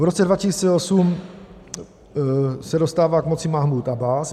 V roce 2008 se dostává k moci Mahmúd Abbás.